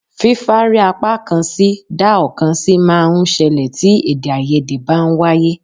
Fífárí apákan sí dá ọ̀kan sí máa ń ṣẹlẹ̀ tí èdèàìyedè bá ń wáyé